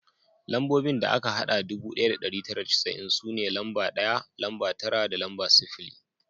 Lambobin da aka hada ɗubu ɗaya da ɗari tara da casa'in su ne lamba ɗaya, lamba tara da lamba sifili